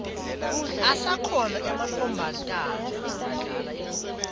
asakhona ematfomatana ladlala ibhola